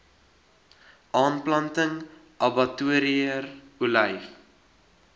aanplanting abbatior olyf